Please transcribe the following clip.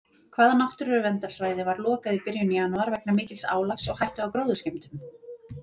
Hvaða náttúruverndarsvæði var lokað í byrjun janúar vegna mikils álags og hættu á gróðurskemmdum?